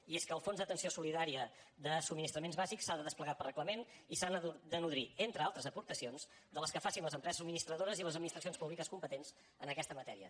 i és que el fons d’atenció solidària de subministraments bàsics s’ha de desplegar per reglament i s’ha de nodrir entre altres aportacions de les que facin les empreses subministradores i les administracions públiques competents en aquesta matèria